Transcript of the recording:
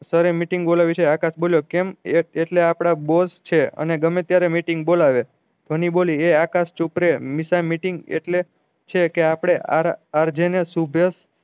સરે meeting બોલાવી છે આકાશ બોલ્યો કેમ એટલે આપળે બોસ છે અને ગમે ત્યારે meeting બોલાવે ધ્વની બોલી એ આકાશ ચુપ રેહ નિશા meeting એટલે છે કે આપળે અર જે ને